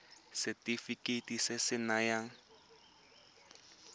ke setefikeiti se se nayang